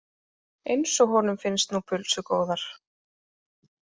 Eins og honum finnst nú pulsur góðar.